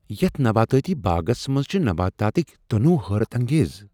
یتھ نباتاتی باغس منٛز چھ نباتاتک تنوع حیرت انگیز۔